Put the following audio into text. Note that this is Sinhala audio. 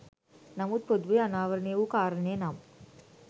නමුත් පොදුවේ අනාවරණය වූ කාරණය නම්